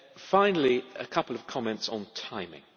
Finally, a couple of comments on timing.